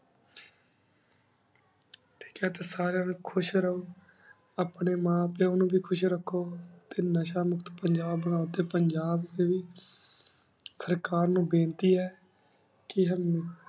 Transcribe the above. ਠੀਕ ਹੈ ਤੇ ਸਰਿਯਾਂ ਨਾਲ ਖੁਸ਼ ਰਹੁ ਆਪਣੀ ਮਾਂ ਪਿਉ ਵੇ ਖੁਸ਼ ਰਖੋ ਟੀ ਨਸ਼ਾ ਮੁਕਤ ਪੰਜਾਬ ਬਨਾਓ ਟੀ ਪੰਜਾਬ ਦੇ ਸਰਕਾਰ ਨੂ ਵਿਨਤੀ ਹੈ ਕੀ